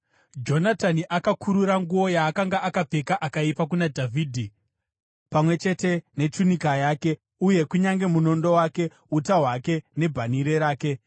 Jonatani akakurura nguo yaakanga akapfeka akaipa kuna Dhavhidhi, pamwe chete nechunika yake, uye kunyange munondo wake, uta hwake nebhanhire rake.